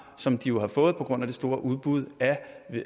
som de jo har fået på grand af det store udbud af